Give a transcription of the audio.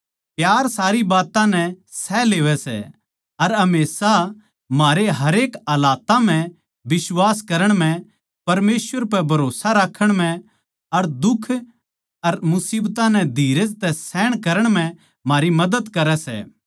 प्यार सारी बात्तां नै सह लेवै सै अर हमेशा म्हारे हरेक हालात्तां म्ह बिश्वास करण म्ह परमेसवर पै भरोस्सा राक्खण म्ह अर दुख अर मुसीबतां नै धीरज तै सहन म्ह म्हारी मदद करै सै